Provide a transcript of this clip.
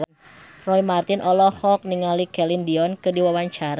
Roy Marten olohok ningali Celine Dion keur diwawancara